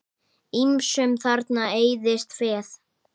Ýmsum þarna eyðist féð.